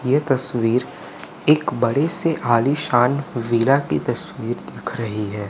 ये तस्वीर एक बड़े से आलीशान वीरा की तस्वीर दिख रही है।